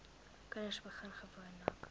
kinders begin gewoonlik